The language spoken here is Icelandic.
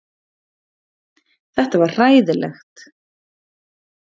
Þetta var hræðilegt.